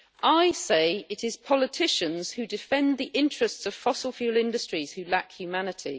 I say it is politicians, who defend the interests of fossil fuel industries, who lack humanity.